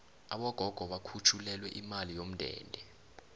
abogogo bakhutjhulelwe imali yomndende